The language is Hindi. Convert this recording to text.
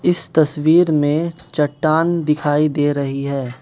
इस तस्वीर में चट्टान दिखाई दे रही है।